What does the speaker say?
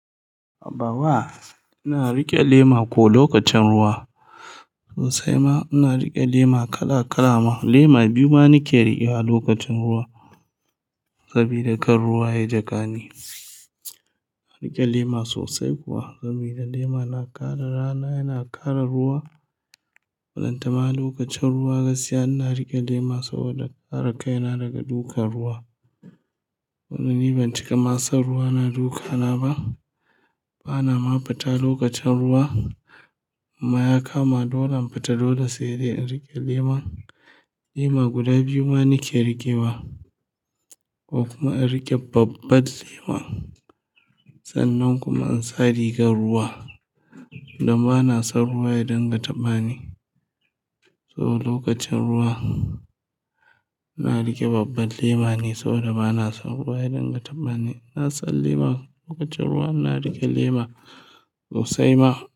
Baba, ina riƙe lema ko lokacin ruwa. Sosai ma ina riƙe lema kala-kala ma. Lema biyu ma nake riƙewa lokacin ruwa. Sabida kan ruwa ya jiƙa ni. Ina riƙe lema sosai kuwa, sabida lema na kare rana yana kare ruwa. Ballantana ma lokacin ruwa gaskiya ina riƙe lema saboda kare kaina daga dukan ruwa. Wanda ni ban cika ma san ruwa na dukana ba. Bana ma fita lokacin ruwa. Imma ya kama dole in fita, dole sai dai in riƙe lema. Lema guda biyu ma nake riƙe wa ko kuma in riƙe babbar lema. Sannan kuma in sa rigar ruwa. Don ba na san ruwa ya dinga taɓa ni. So lokacin ruwa, ina riƙe babbar lema ne saboda ba na san ruwa ya dinga taɓa ni. Ina sa lema. Lokacin ruwa ina riƙe lema sosai ma.